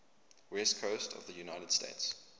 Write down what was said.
west coast of the united states